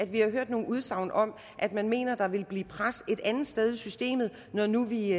vi har hørt nogle udsagn om at man mener at der vil blive pres et andet sted i systemet når nu vi